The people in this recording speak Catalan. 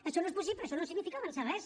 això no és possible això no significa avançar res